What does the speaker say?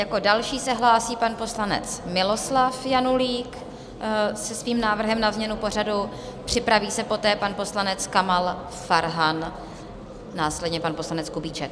Jako další se hlásí pan poslanec Miloslav Janulík se svým návrhem na změnu pořadu, připraví se poté pan poslanec Kamal Farhan, následně pan poslanec Kubíček.